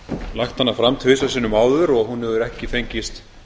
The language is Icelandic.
lagt hana fram tvisvar sinnum áður og hún hefur ekki fengist